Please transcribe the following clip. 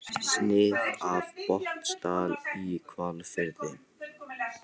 Snið af Botnsdal í Hvalfirði.